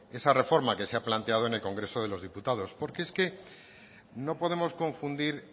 esa reforma que se ha planteado en el congreso de los diputados porque es que no podemos confundir